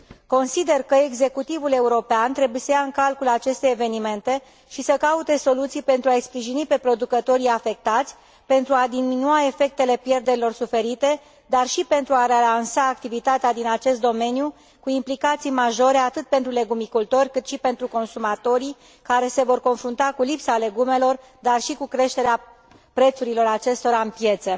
Consider că executivul european trebuie să ia în calcul aceste evenimente și să caute soluții pentru a i sprijini pe producătorii afectați pentru a diminua efectele pierderilor suferite, dar și pentru a relansa activitatea din acest domeniu cu implicații majore atât pentru legumicultori, cât și pentru consumatorii care se vor confrunta cu lipsa legumelor, dar și cu creșterea prețurilor acestora în piețe.